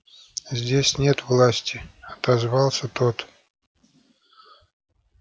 здесь нет власти отозвался тот